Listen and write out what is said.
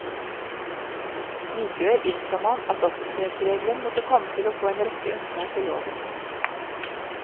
Likevel innså man at offentlighetsregelen måtte komme til å få en rekke unntak i loven.